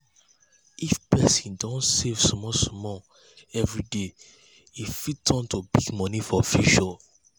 if person dey save small small every day e fit turn to big money for future.